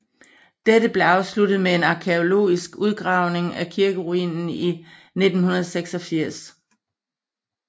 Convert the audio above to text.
Dette blev afsluttet med en arkæologisk udgravingd af kirkeruinen i 1986